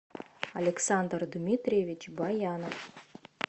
александр дмитриевич баянов